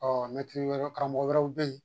Ɔɔ karamɔgɔ wɛrɛw be yen.